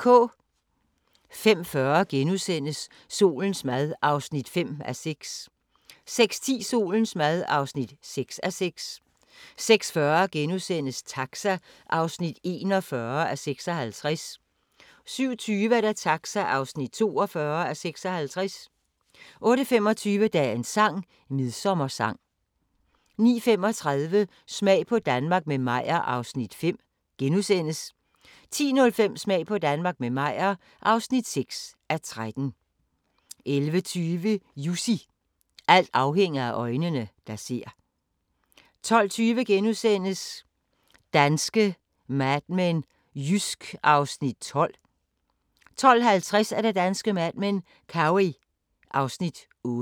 05:40: Solens mad (5:6)* 06:10: Solens mad (6:6) 06:40: Taxa (41:56)* 07:20: Taxa (42:56) 08:25: Dagens sang: Midsommersang 09:35: Smag på Danmark – med Meyer (5:13)* 10:05: Smag på Danmark – med Meyer (6:13) 11:20: Jussi – alting afhænger af øjnene, der ser 12:20: Danske Mad Men: Jysk (Afs. 12)* 12:50: Danske Mad Men: Cowey (Afs. 8)